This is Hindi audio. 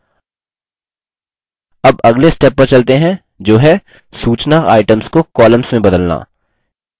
अब अगले step पर चलते हैं जो है सूचना items को columns में बदलना